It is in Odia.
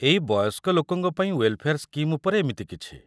ଏଇ ବୟସ୍କ ଲୋକଙ୍କ ପାଇଁ ୱେଲ୍‌ଫେଆର୍ ସ୍କିମ୍ ଉପରେ ଏମିତି କିଛି ।